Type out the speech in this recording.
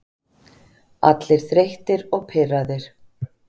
Allir þreyttir og pirraðir.